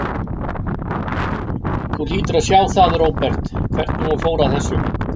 Þú hlýtur að sjá það, Róbert, hvernig hún fór að þessu.